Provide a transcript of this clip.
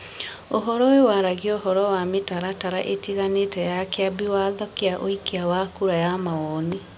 Ũhoro ũyũ waragia ũhoro wa mĩtaratara ĩtiganĩte ya Kĩambi Watho kĩa ũikia wa kura ya mawoni ,